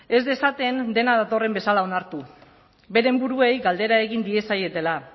ez dezaten dena datorren bezala onartu beren buruei galdera egin diezaietela